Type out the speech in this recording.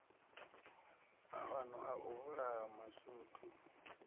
maano a u vhulaha mashudu